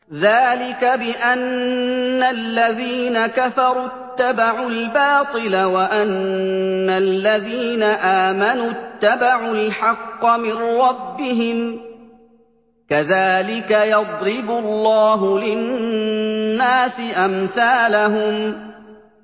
ذَٰلِكَ بِأَنَّ الَّذِينَ كَفَرُوا اتَّبَعُوا الْبَاطِلَ وَأَنَّ الَّذِينَ آمَنُوا اتَّبَعُوا الْحَقَّ مِن رَّبِّهِمْ ۚ كَذَٰلِكَ يَضْرِبُ اللَّهُ لِلنَّاسِ أَمْثَالَهُمْ